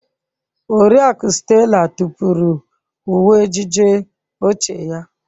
Oriakụ Stella tụpụrụ uwe ejiji ochie ya.